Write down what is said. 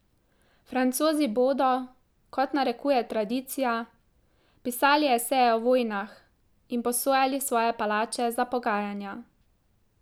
Francozi bodo, kot narekuje tradicija, pisali eseje o vojnah in posojali svoje palače za pogajanja.